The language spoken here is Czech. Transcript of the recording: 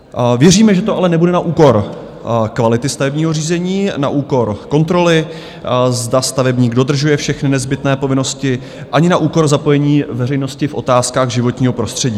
Věříme, že to ale nebude na úkor kvality stavebního řízení, na úkor kontroly, zda stavebník dodržuje všechny nezbytné povinnosti, ani na úkor zapojení veřejnosti v otázkách životního prostředí.